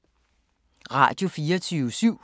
Radio24syv